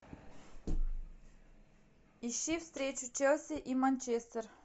ищи встречу челси и манчестер